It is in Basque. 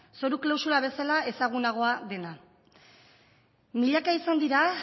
zoru klausula bezala ezagunagoa dena milaka izan dira